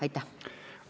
Aitäh!